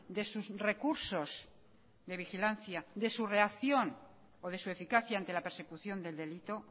de sus recursos de vigilancia de su reacción o de su eficacia ante la persecución del delito